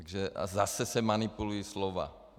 A zase se manipulují slova.